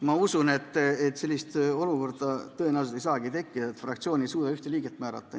Ma usun, et sellist olukorda tõenäoliselt ei saagi tekkida, et fraktsioon ei suuda ühtegi liiget määrata.